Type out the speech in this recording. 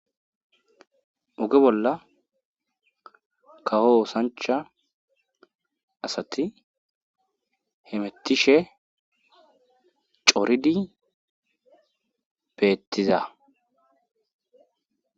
oge bolla kawo osancha asati hemettishe coridi beettiza